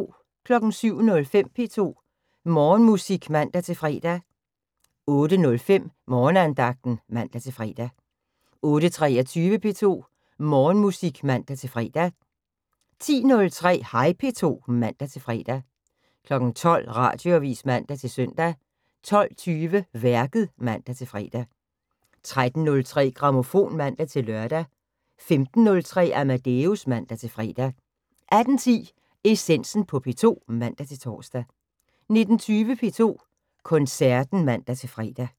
07:05: P2 Morgenmusik (man-fre) 08:05: Morgenandagten (man-fre) 08:23: P2 Morgenmusik (man-fre) 10:03: Hej P2 (man-fre) 12:00: Radioavis (man-søn) 12:20: Værket (man-fre) 13:03: Grammofon (man-lør) 15:03: Amadeus (man-fre) 18:10: Essensen på P2 (man-tor) 19:20: P2 Koncerten (man-fre)